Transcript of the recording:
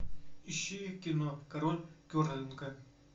ищи кино король керлинга